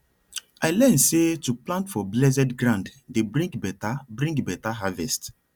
i learn say to plant for blessed ground dey bring better bring better harvest